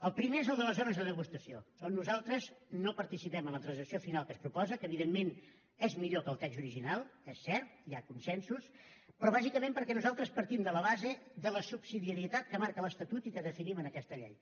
el primer és el de les zones de degustació on nosaltres no participem en la transacció final que es proposa que evidentment és millor que el text original és cert hi ha consensos però bàsicament perquè nosaltres partim de la base de la subsidiarietat que marca l’estatut i que definim en aquest llei